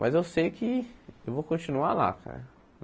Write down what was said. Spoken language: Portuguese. Mas eu sei que eu vou continuar lá, cara.